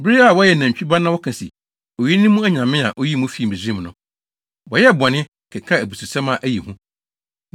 bere a wɔyɛɛ nantwi ba na wɔka se, ‘Oyi ne mo nyame a, oyii mo fii Misraim no.’ Wɔyɛɛ bɔne, kekaa abususɛm a ɛyɛ hu.